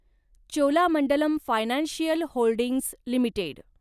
Cholamandalam financial holdings limited